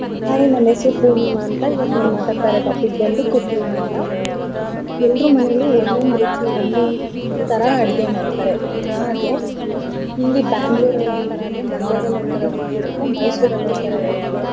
Hai ನನ್ ಹೆಸ್ರು ಪೂರ್ಣಿಮಾ ಅಂತ. ಇವತ್ ನಾನ್ ಮಾತಾಡ್ತಿರೋ topic ಬಂದು cooking ಅಂತ. ಎಲ್ರ ಮನೆಲು ಒಂದ್ ಒಂದ್ ರುಚಿ ಒಂದೊಂದ್ ತರ ಅಡ್ಗೆ ಮಾಡ್ತಾರೆ. ಹಾಗೆ ಇಲ್ಲಿ Bangalore ಅಲ್ ಒಂದ್ ತರ ಆದ್ರೆ Mandya ದಲ್ ಒಂದ್ ತರ ರುಚಿ ಇರತ್ತೆ Mysore ಅಲ್ ಒಂದ್ ತರ ಇರತ್ತೆ.